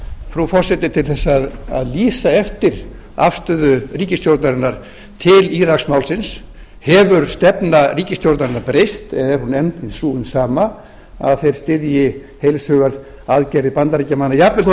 frú forseti til þess að lýsa eftir afstöðu ríkisstjórnarinnar til íraksmálsins hefur stefna ríkisstjórnarinnar breyst eða er hún enn sú hin sama að þeir styðji heils hugar aðgerðir bandaríkjamanna jafnvel þó